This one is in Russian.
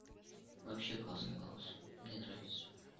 вообще классный голос мне нравится